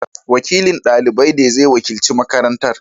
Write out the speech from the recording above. Wakilin dalibai ne zai wakilci makarantar.